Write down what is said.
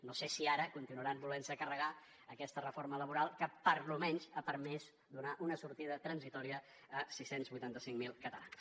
no sé si ara continuaran volent se carregar aquesta reforma laboral que almenys ha permès donar una sortida transitòria a sis cents i vuitanta cinc mil catalans